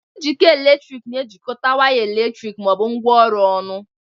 Njikọ eletrik na-ejikọta waya eletriki ma ọ bụ ngwaọrụ ọnụ.